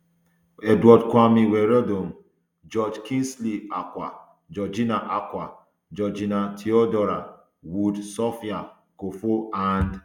edward kwame wiredu um george kingsley acquah georgina acquah georgina theodora wood sophia akuffo and